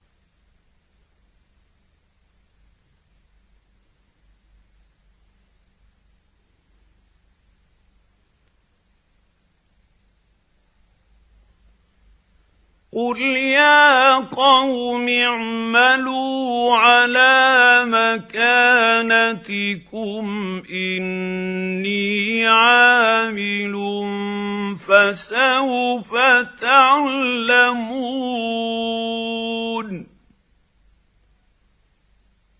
قُلْ يَا قَوْمِ اعْمَلُوا عَلَىٰ مَكَانَتِكُمْ إِنِّي عَامِلٌ ۖ فَسَوْفَ تَعْلَمُونَ